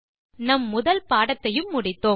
நம் முதல் பாடத்தையும் முடித்தோம்